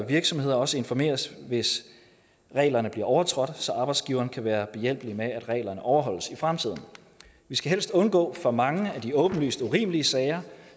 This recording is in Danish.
virksomheder også informeres hvis reglerne bliver overtrådt så arbejdsgiveren kan være behjælpelig med at reglerne overholdes i fremtiden vi skal helst undgå for mange af de åbenlyst urimelige sager